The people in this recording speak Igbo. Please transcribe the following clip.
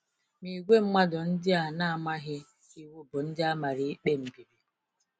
Ma ìgwè mmadụ ndị a na-amaghị Iwu bụ ndị amara ikpe mbibi.”